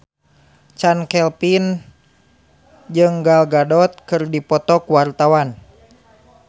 Chand Kelvin jeung Gal Gadot keur dipoto ku wartawan